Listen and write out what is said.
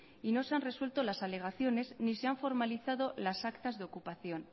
y no se han resuelto las alegaciones ni se han formalizado las actas de ocupación